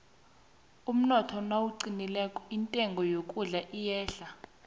umnotho nawuqinileko intengo yokudla iyehla